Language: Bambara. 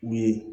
U ye